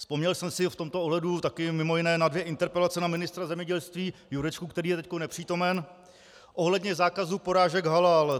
Vzpomněl jsem si v tomto ohledu také mimo jiné na dvě interpelace na ministra zemědělství Jurečku, který je teď nepřítomen, ohledně zákazu porážek halal.